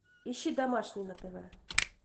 ищи домашний на тв